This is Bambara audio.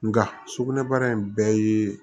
Nka sugunɛbara in bɛɛ ye